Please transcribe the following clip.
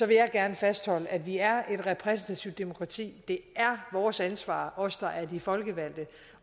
vil jeg gerne fastholde at vi er et repræsentativt demokrati det er vores ansvar os der er de folkevalgte